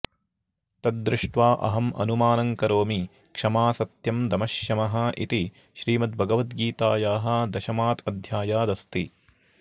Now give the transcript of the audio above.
तत् दृष्ट्वा अहम् अनुमानं करोमि क्षमा सत्यं दमः शमः इति श्रीमद्भगवद्गीतायाः दशमात् अध्यायात् अस्ति